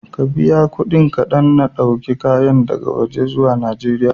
Ka biya kuɗi kaɗan na ɗauko kayan daga waje zuwa Najeriya.